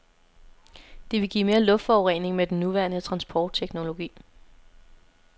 Det vil give mere luftforurening med den nuværende transportteknologi.